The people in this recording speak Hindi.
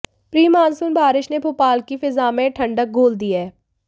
प्री मानसून बारिश ने भोपाल की फिजा में ठंडक घोल दी है